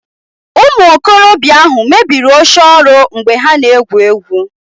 Ụmụ okorobịa ahụ mebiri oche ọrụ mgbe ha na-egwu egwu